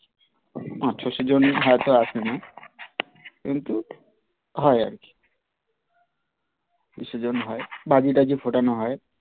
পাঁচ ছয়শ জনই হয় তো আসেনা কিন্তু হয় আর কি বিসর্জন হয় বাজি ঠাজি ফোটানো হয়.